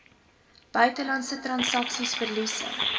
buitelandse transaksies verliese